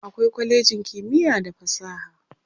akwai kwalejin kimiya da fasaha